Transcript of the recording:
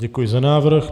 Děkuji za návrh.